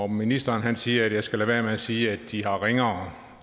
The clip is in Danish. ministeren siger at jeg skal lade være med at sige at de har ringere